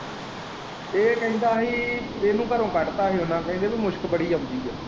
ਇਹ ਕਹਿੰਦਾ ਹੀ ਇਹਨੂੰ ਘਰੋਂ ਕੱਢਤਾ ਹੀ ਉਹਨਾਂ ਕਹਿੰਦੇ ਕੀ ਮੁਸਕ ਬੜੀ ਆਉਂਦੀ ਹੈ।